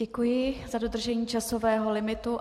Děkuji za dodržení časového limitu.